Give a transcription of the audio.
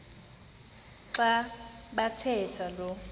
xa bathetha lo